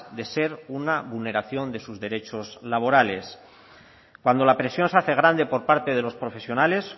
de ser una vulneración de sus derechos laborales cuando la presión se hace grande por parte de los profesionales